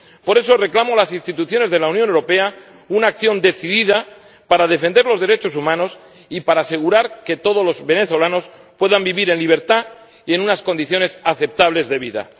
Por eso reclamo a las instituciones de la Unión Europea una acción decidida para defender los derechos humanos y para asegurar que todos los venezolanos puedan vivir en libertad y en unas condiciones aceptables de vida.